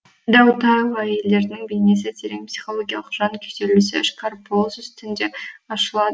дәутайұлы әйелдерінің бейнесі терең психологиялық жан күйзелісі ішкі арпалыс үстінде ашылады